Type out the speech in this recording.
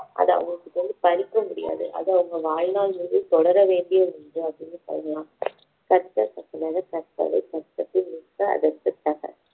அது அவங்க கிட்ட இருந்து பறிக்க முடியாது அது அவங்க வாழ்நாள் முழுதும் தொடர வேண்டிய ஒரு இது அப்படின்னு சொல்லலாம் கற்க கசடற கற்பவை கற்றபின் நிற்க அதற்குத் தக